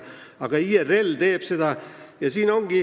Aga seda teeb IRL!